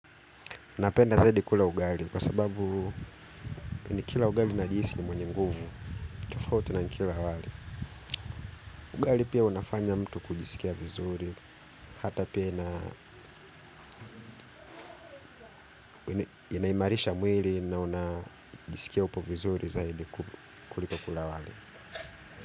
Napenda zaidi kula ugali, kwa sababu nikila ugali najihisi ni mwenye nguvu, tofauti na kila wali. Ugali pia unafanya mtu kujisikia vizuri, hata pia inaimarisha mwili na unajisikia upo vizuri zaidi kuliko kula wali.